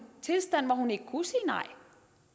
tilstand hvor hun ikke